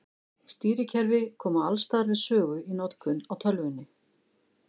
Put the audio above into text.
Stýrikerfi koma alls staðar við sögu í notkun á tölvunni.